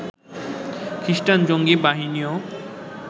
খ্রিষ্টান জঙ্গি বাহিনীও